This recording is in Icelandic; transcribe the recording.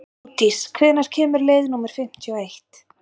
Módís, hvenær kemur leið númer fimmtíu og eitt?